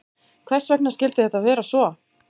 Hvers vegna skyldi þetta vera svo?